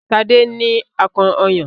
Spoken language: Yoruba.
Sade ní akàn ọyàn